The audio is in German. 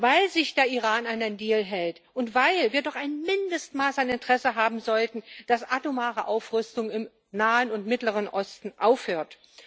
Weil sich der Iran an den Deal hält, und weil wir doch ein Mindestmaß an Interesse haben sollten, dass das atomare Aufrüsten im Nahen und Mittleren Osten aufhört.